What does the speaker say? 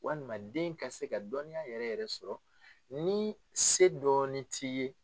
Walima den ka se ka dɔnniya yɛrɛ yɛrɛ sɔrɔ ni se dɔɔni t'i ye.